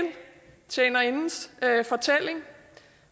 tjenerindens fortælling